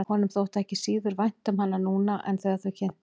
Honum þótti ekki síður vænt um hana núna en þegar þau kynntust.